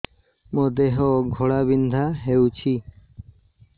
ମୋ ଦେହ ଘୋଳାବିନ୍ଧା ହେଉଛି